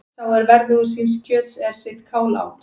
Sá er verðugur síns kjöts er sitt kál át.